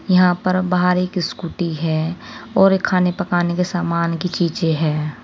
यहां पर बाहर एक स्कूटी है और एक खाने पकाने के सामान की चीजे हैं।